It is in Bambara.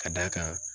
Ka d'a kan